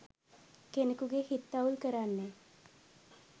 කෙනෙකුගේ හිත් අවුල් කරන්නේ.